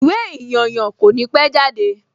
Ìwé ìyànyàn kò ní pẹ́ jáde